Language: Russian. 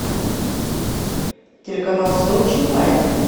телеканал сочи лайв